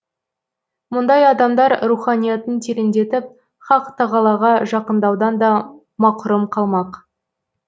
мұндай адамдар руханиятын тереңдетіп хақ тағалаға жақындаудан да мақұрым қалмақ